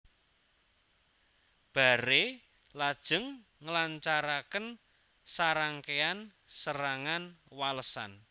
Barre lajeng nglancaraken sarangkéyan serangan walesan